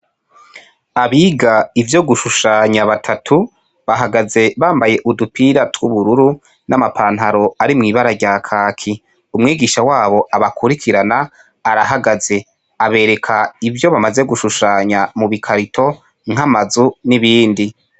Abiga ivyo gushushanya batatu bahagaze bambaye udupira tw'ubururu n'amapantaro ari mw'ibara rya kaki umwigisha wabo abakurikirana arahagaze abereka ivyo bamaze gushushanya mu bikarito nk'amazu n'ibindi.